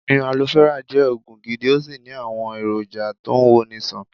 Omi Alofẹ́rà jẹ́ Ògùn gidi, ó sì ní àwọn èrò jà tó ń wo ni ṣàn.